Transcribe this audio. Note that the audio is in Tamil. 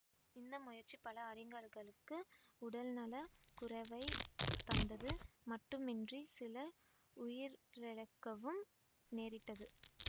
இந்த முயற்சி பல அறிஞர்களுக்கு உடல்நல குறைவைத் தந்தது மட்டுமின்றி சிலர் உயிரிழக்கவும் நேரிட்டது